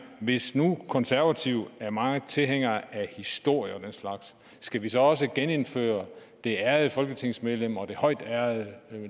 hvis nu konservative er meget tilhængere af historie og den slags skal vi så også genindføre det ærede folketingsmedlem og den højtærede